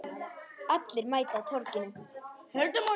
Allir mæta á Torginu